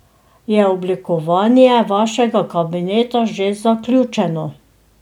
Je oblikovanje vašega kabineta že zaključeno?